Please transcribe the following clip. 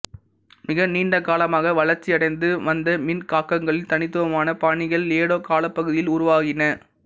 மிக நீண்ட காலமாக வளர்ச்சியடைந்து வந்த மின்காக்களின் தனித்துவமான பாணிகள் ஏடோ காலப் பகுதியில் உருவாகின